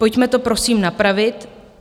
Pojďme to, prosím, napravit.